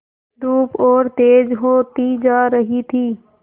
धूप और तेज होती जा रही थी